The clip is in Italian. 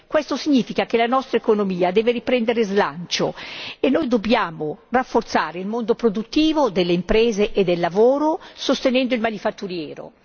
Questo significa che la nostra economia deve riprendere slancio e noi dobbiamo rafforzare il mondo produttivo delle imprese e del lavoro sostenendo il manifatturiero.